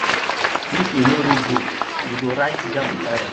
if you no read book you go write jamb tire